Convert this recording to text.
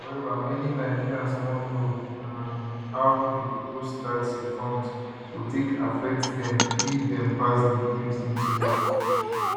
however many nigerians wan know um how di proposed tax reforms go take affect dem if dem pass di bills into law